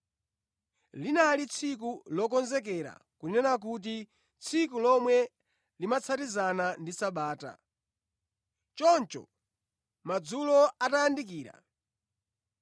Linali Tsiku Lokonzekera (kunena kuti, tsiku lomwe limatsatizana ndi Sabata). Choncho madzulo atayandikira,